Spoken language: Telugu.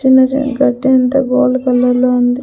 చిన్నచిన్న కర్టైన్ తో గోల్డ్ కలర్ లో ఉంది.